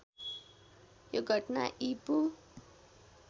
यो घटना ईपू